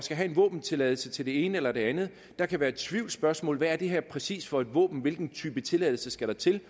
have en våbentilladelse til det ene eller det andet der kan være tvivlsspørgsmål hvad er det her præcis for et våben hvilken type tilladelse skal der til